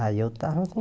Aí eu estava com